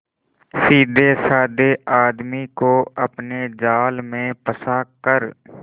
सीधेसाधे आदमी को अपने जाल में फंसा कर